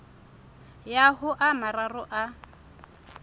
ya ho a mararo a